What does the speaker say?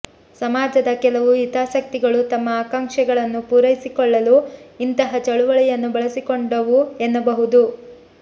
ಸಮಾಜದ ಕೆಲವು ಹಿತಾಸಕ್ತಿಗಳು ತಮ್ಮ ಆಕಾಂಕ್ಷೆಗಳನ್ನು ಪೂರೈಸಿಕೊಳ್ಳಲು ಇಂತಹ ಚಳವಳಿಯನ್ನು ಬಳಸಿಕೊಂಡವು ಎನ್ನಬಹುದು